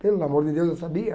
Pelo amor de Deus, eu sabia?